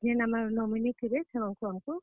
ଯିଏ nominee ଥିବେ ସେମାନଙ୍କୁ, ମାନଙ୍କୁ।